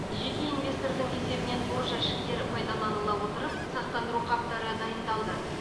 жеке инвестордың есебінен тор жәшіктер пайдаланыла отырып сақтандырау қаптары дайындалды